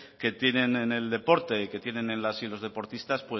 que tienen en el deporte y que tienen en las y los deportistas